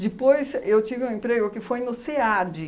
Depois eu tive um emprego que foi no SEAD.